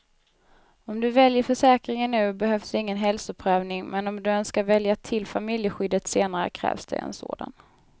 Om du väljer försäkringen nu behövs ingen hälsoprövning, men om du önskar välja till familjeskyddet senare krävs det en sådan.